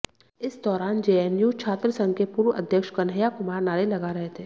इस दौरान जेएनयू छात्र संघ के पूर्व अध्यक्ष कन्हैया कुमार नारे लगा रहे थे